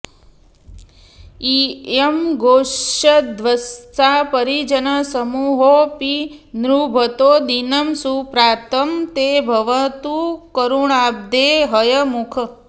इयं गौस्सद्वत्सा परिजनसमूहोऽपि निभृतो दिनं सुप्रातं ते भवतु करुणाब्धे हयमुख